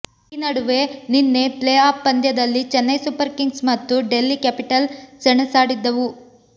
ಈ ನಡುವೆ ನಿನ್ನೆ ಪ್ಲೇ ಆಫ್ ಪಂದ್ಯದಲ್ಲಿ ಚೆನ್ನೈ ಸೂಪರ್ ಕಿಂಗ್ಸ್ ಮತ್ತು ಡೆಲ್ಲಿ ಕ್ಯಾಪಿಟಲ್ ಸೆಣಸಾಡಿದ್ದವು